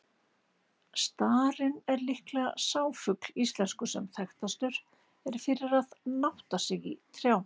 Starinn er sennilega sá fugl íslenskur, sem þekktastur er fyrir að nátta sig í trjám.